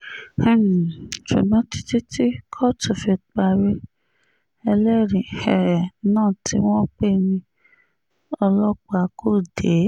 um ṣùgbọ́n títí tí kóòtù fi parí ẹlẹ́rìí um náà tí wọ́n pè ní ọlọ́pàá kò dé